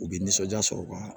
U bɛ nisɔndiya sɔrɔ u ka